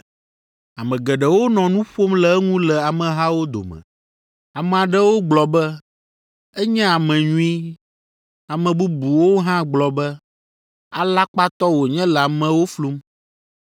Ame geɖewo nɔ nu ƒom le eŋu le amehawo dome. Ame aɖewo gblɔ be, “Enye ame nyui.” Ame bubuwo hã gblɔ be, “Alakpatɔ wònye le amewo flum.”